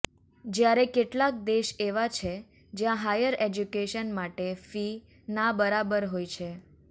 જયારે કેટલાંક દેશ એવા છે જ્યાં હાયર એજ્યુકેશન માટે ફી ના બરાબર હોય છે